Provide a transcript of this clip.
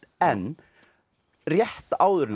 en rétt áður en